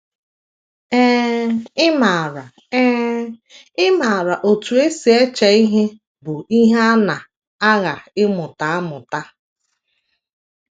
Ee, ịmara Ee, ịmara otú e si eche ihe bụ ihe a na - agha ịmụta amụta.